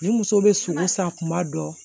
Ni muso bɛ sogo san kuma dɔ